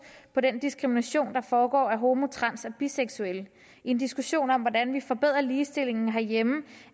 på den diskrimination der foregår af homo trans og biseksuelle i en diskussion om hvordan vi forbedrer ligestillingen herhjemme